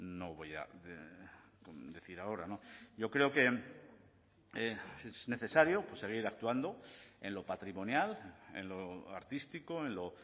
no voy a decir ahora yo creo que es necesario seguir actuando en lo patrimonial en lo artístico en lo